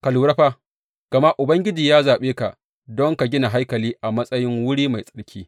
Ka lura fa, gama Ubangiji ya zaɓe ka don ka gina haikali a matsayin wuri mai tsarki.